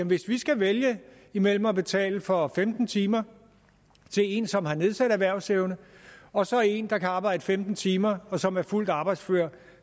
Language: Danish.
hvis de skal vælge imellem at betale for femten timer til en som har nedsat erhvervsevne og så en der kan arbejde femten timer og som er fuldt arbejdsfør